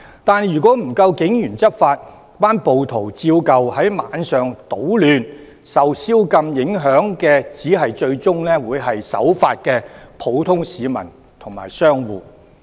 但是，如果不夠警員執法，暴徒依舊在晚上搗亂，受宵禁影響的最終只會是守法的普通市民和商戶。